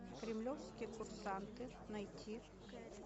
кремлевские курсанты найти